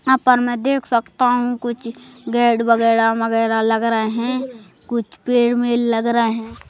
यहां पर मैं देख सकता हूं कुछ गेट वगैरह मगैरा लग रहे हैं कुछ पेड़ मेल लग रहे हैं।